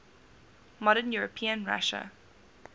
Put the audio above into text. modern european russia